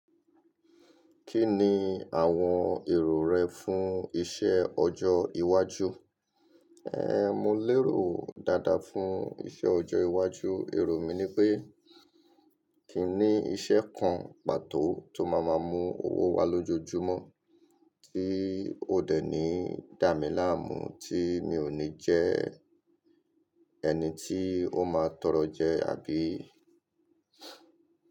Kí ni àwọn èrò rẹ fún iṣẹ́ ọjọ́ iwájú? Ehn, mo lérò dáadáa fún iṣẹ́ ọjọ́ iwájú. Èrò mi ni pé kí n ní iṣẹ́ kan pàtó tó máa máa mú owó wá lójoojúmọ́ tí ó dènì dà mí láàmú, tí mi ò ní jẹ́ ẹni tí ó máa tọrọ jẹ àbí.